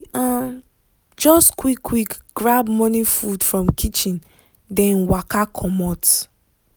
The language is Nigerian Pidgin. we um just quick quick grab morning food from kitchen then waka comot.